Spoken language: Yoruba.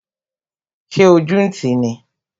Ṣé ojú ń ti ní?